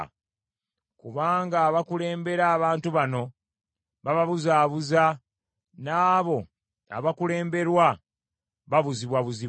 Kubanga abakulembera abantu bano bababuzaabuuza, n’abo abakulemberwa babuzibwabuzibwa.